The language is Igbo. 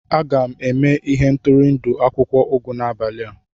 Aga m eme ihendori akwụkwọ ugu n'abali a.